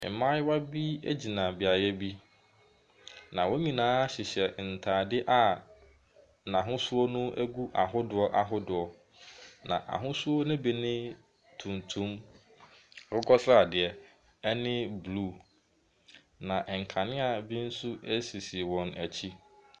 Mmayewa bi gyina beaeɛ bi, na wɔn nyinaa hyehyɛ ntade a n'ahosuo no gu ahodoɔ ahodoɔ, na ahosuo no bi ne, tuntum, akokɔ sradeɛ ne blue, na nkanea bi nso sisi wɔn akyi.